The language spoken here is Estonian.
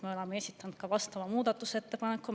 Me oleme esitanud vastava muudatusettepaneku.